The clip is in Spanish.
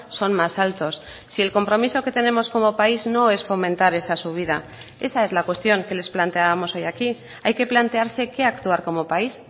son más altos si el compromiso que tenemos como país no es fomentar esa subida esa es la cuestión que les planteábamos hoy aquí hay que plantearse qué actuar como país